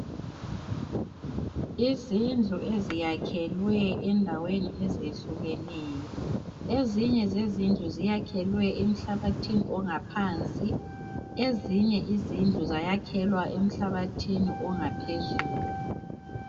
Izindlu eziyakhelwe endaweni ezehlukeneyo ezinye zezindlu ziyakhelwe emhlabathini ongaphansi ezinye izindlu zayakhelwa emhlabathini ongaphezulu.